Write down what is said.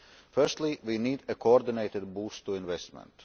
Firstly, we need a coordinated boost to investment.